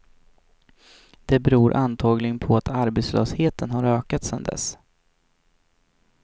Det beror antagligen på att arbetslösheten har ökat sen dess.